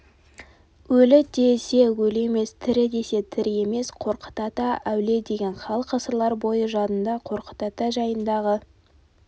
өлі десе өлі емес тірі десе тірі емес қорқыт ата әулие деген халық ғасырлар бойы жадында қорқыт ата жайындағы